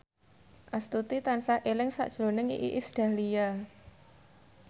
Astuti tansah eling sakjroning Iis Dahlia